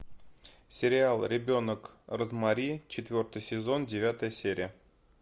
сериал ребенок розмари четвертый сезон девятая серия